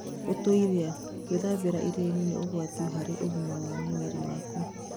ũtũĩria: Gũĩthambĩra iria-inĩ nĩ ũgwati harĩ ũgima wa mwĩrĩ waku.